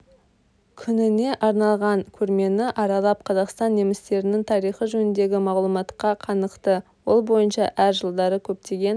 күніне арналған көрмені аралап қазақстан немістерінің тарихы жөніндегі мағлұматқа қанықты ол бойынша әр жылдары көптеген